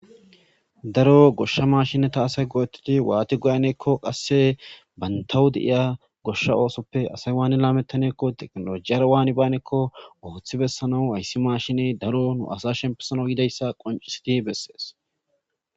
Daro gosha mashineta asay go'tidi wani lametaneko go'tanekko qasse bantaw de'ya asay wani lametanekko wani banekko loythi bessanaw hayssi mashiney asa shempisanaw yidayssa qoncicidi bezzes.